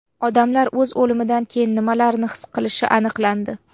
Odamlar o‘z o‘limidan keyin nimalarni his qilishi aniqlandi.